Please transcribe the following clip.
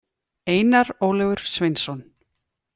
Einar Ólafur Sveinsson.